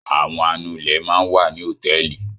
Àwọn anulẹ̀ máa ń wà ní hòtẹ́ẹ́lì.